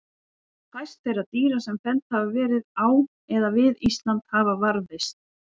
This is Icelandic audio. fæst þeirra dýra sem felld hafa verið á eða við ísland hafa varðveist